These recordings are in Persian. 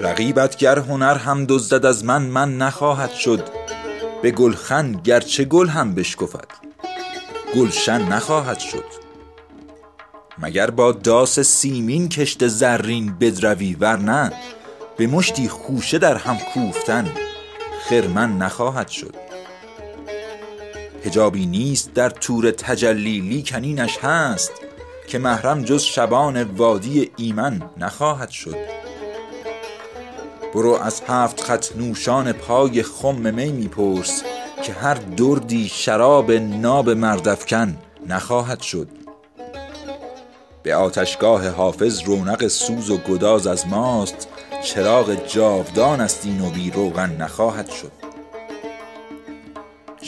رقیبت گر هنر هم دزدد از من من نخواهد شد به گلخن گرچه گل هم بشکفد گلشن نخواهد شد مگر با داس سیمین کشت زرین بدروی ورنه به مشتی خوشه در هم کوفتن خرمن نخواهد شد حجابی نیست در طور تجلی لیکن اینش هست که محرم جز شبان وادی ایمن نخواهد شد برو از هفت خط نوشان پای خم می می پرس که هر دردی شراب ناب مرد افکن نخواهد شد به سر تاج سهیلش باید و تاراج توفان ها به این سهلی که کوه آبستن معدن نخواهد شد دمیدن در گلوی شیشه نای شیشه گر داند به باد و دم کسی دانای فوت و فن نخواهد شد به آتشگاه حافظ رونق سوز و گداز از ماست چراغ جاودانست این و بی روغن نخواهد شد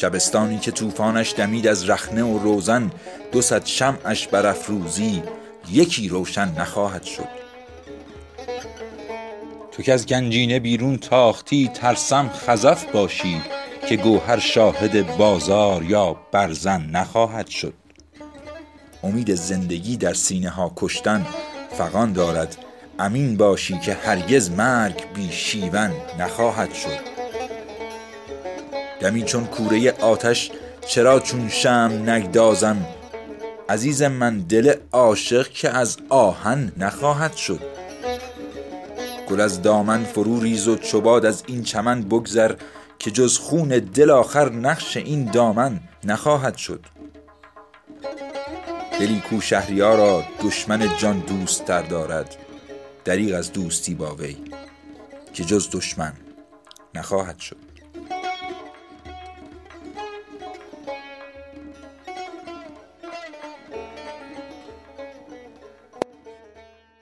دریغ از مومیا کرد این طبیب سنگدل با ما مگر دست شکسته بار بر گردن نخواهد شد شبستانی که طوفانش دمید از رخنه و روزن دو صد شمعش برافروزی یکی روشن نخواهد شد تو کز گنجینه بیرون تاختی ترسم خزف باشی که گوهر شاهد بازار یا برزن نخواهد شد کسی کو در حریم حرمت الهام افرشته ست خراب خفت احلام اهریمن نخواهد شد فلک گو نطفه مردی ز زهدان زمین برگیر که این زال سترون دیگر آبستن نخواهد شد امید زندگی در سینه ها کشتن فغان دارد امین باشی که هرگز مرگ بی شیون نخواهد شد تو پنداری که گل بردی و نای بلبلان بستی ندانستی که بی تیغ زبان سوسن نخواهد شد دمی چون کوره آتش چرا چون شمع نگدازم عزیز من دل عاشق که از آهن نخواهد شد به تیر طعنه یعقوب حزین چاک گریبان دوخت ولی گر بادش آرد بوی پیراهن نخواهد شد گل از دامن فرو ریز و چو باد از این چمن بگذر که جز خون دل آخر نقش این دامن نخواهد شد دلی کو شهریارا دشمن جان دوست تر دارد دریغ از دوستی با وی که جز دشمن نخواهد شد